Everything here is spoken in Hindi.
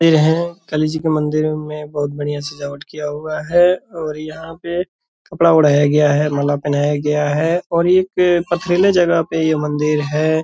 पेड़ है। काली जी के मंदिर में बहुत बढ़िया सजावट किया हुआ है और यहाँ पे कपड़ा ओढ़ाया गया है माला पहनाया गया है और एक पथरीले जगह पर ये मंदिर है।